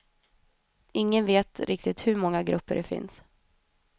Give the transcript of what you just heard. Ingen vet riktigt hur många grupper det finns.